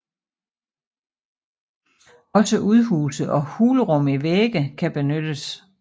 Også udhuse og hulrum i vægge kan benyttes